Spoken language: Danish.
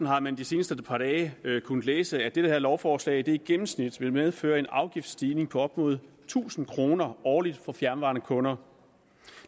har man de seneste par dage kunnet læse at det her lovforslag i gennemsnit vil medføre en afgiftsstigning på op imod tusind kroner årligt for fjernvarmekunder